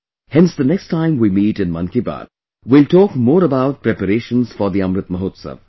Hence the next time we meet in 'Mann Ki Baat', we will talk more about preparations for the Amrit Mahotsav